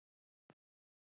Við erum ein heild!